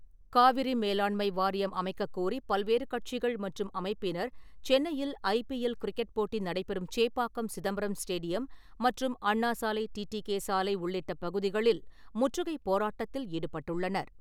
காவிரி மேலாண்மை வாரியம் அமைக்கக்கோரி பல்வேறு கட்சிகள் மற்றும் அமைப்பினர் சென்னையில் ஐ பி எல் கிரிக்கெட் போட்டி நடைபெறும் சேப்பாக்கம் சிதம்பரம் ஸ்டேடியம் மற்றும் அண்ணா சாலை, டி டி கே சாலை உள்ளிட்ட பகுதிகளில் முற்றுகை போராட்டத்தில் ஈடுபட்டுள்ளனர்.